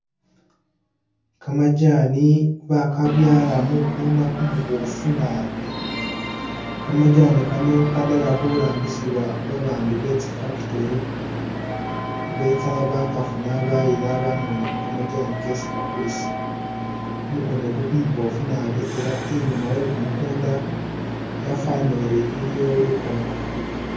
Kamajani bakabyaala mukunda kumuboofu naabi, kamajaani Kano kadala khurambisibwa babandu betsi factory betsa bakafuna bayila batsa ba'ngoonamo kamajani kesi bakulisa, kumukunda oku kumuboofu naabi ela i'nyuma we kumukunda wafanile ori iliyo lukoongo.